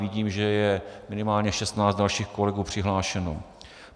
Vidím, že je minimálně 16 dalších kolegů přihlášeno.